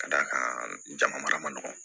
Ka d'a kan jama mara man dɔgɔn